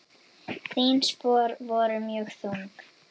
Þín spor voru mjög þung.